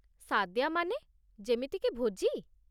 ସାଦ୍ୟା ମାନେ, ଯେମିତିକି ଭୋଜି?